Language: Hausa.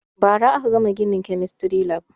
Ba ra aka gama ginin kemistry lab